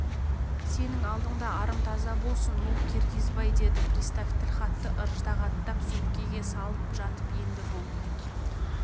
сенің алдында арым таза болсын ну киргизбай деді пристав тілхатты ыждағаттап сөмкеге салып жатып енді бұл